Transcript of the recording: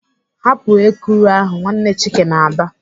"Hapụ ekuru ahụ!" Nwanne Chike na-aba.